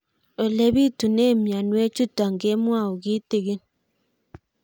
Ole pitune mionwek chutok ko kimwau kitig'ín